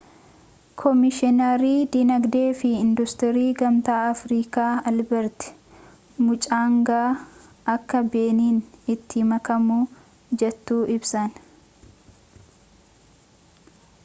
koomishinarii dinagdee fi industirii gamtaa afrikaa albeert muchangaa akka beniin itti makamuuf jettu ibsan